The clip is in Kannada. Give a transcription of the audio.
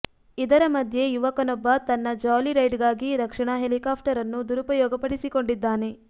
ಇದರ ಮಧ್ಯೆ ಯುವಕನೊಬ್ಬ ತನ್ನ ಜಾಲಿ ರೈಡ್ ಗಾಗಿ ರಕ್ಷಣಾ ಹೆಲಿಕಾಪ್ಟರ್ ಅನ್ನು ದುರುಪಯೋಗಪಡಿಸಿಕೊಂಡಿದ್ದಾನೆ